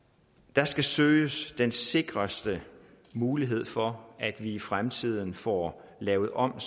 der skal søges den sikreste mulighed for at vi i fremtiden får lavet om